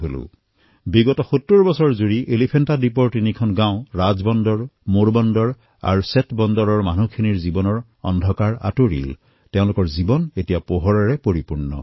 ৭০ বছৰলৈ এলিফেণ্টা দ্বীপৰ তিনিখন গাঁও ৰাজবন্দৰ মোৰবন্দৰ আৰু সেঁতবন্দৰ তাৰ বাসিন্দাসকলৰ জীৱন যি অন্ধকাৰত ডুবি আছিল এতিয়া সেই অন্ধকাৰ আঁতৰি গৈছে তেওঁলোকৰ জীৱনলৈ প্ৰকাশ আহিছে